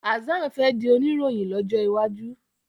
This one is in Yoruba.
Hassan fè dì Oníròhìn lójó waju.